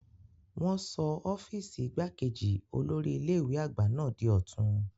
Wọn sọ ọ́fíìsì igbákejì olórí ilé ìwé àgbà náà di ọ̀tun.